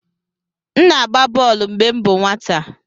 M na-agba bọl mgbe m bụ nwata.